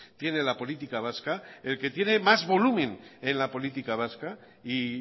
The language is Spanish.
tiene la política vasca el que tiene más volumen en la política vasca y